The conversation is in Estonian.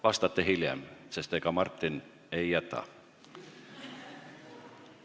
Vastate hiljem, sest ega Martin ei jäta.